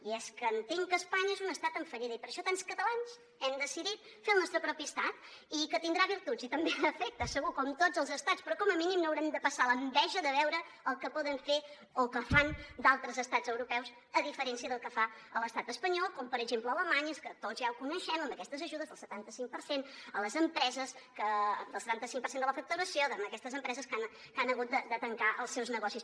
i és que entenc que espanya és un estat en fallida i per això tants catalans hem decidit fer el nostre propi estat i que tindrà virtuts i també defectes segur com tots els estats però com a mínim no haurem de passar l’enveja de veure el que poden fer o el que fan d’altres estats europeus a diferència del que fa l’estat espanyol com per exemple alemanya és que tots ja ho coneixem amb aquestes ajudes del setanta cinc per cent a les empreses que el setanta cinc per cent de la facturació en aquestes empreses que han hagut de tancar els seus negocis